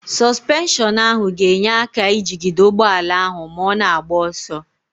Sọsụpenshọnụ ahụ ga-enye aka ijigide ụgbọala ahụ ma ọ na-agba ọsọ.